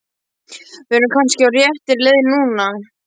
Við erum kannski á réttri leið núna!